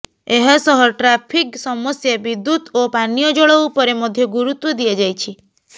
ଏହାସହ ଟ୍ରାଫିକ ସମସ୍ୟା ବିଦ୍ୟୁତ ଓ ପାନୀୟ ଜଳ ଉପରେ ମଧ୍ୟ ଗୁରୁତ୍ବ ଦିଆଯାଇଛି